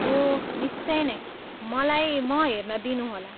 ओह, निश्चय नै, मलाई म हेर्न दिनुहोला!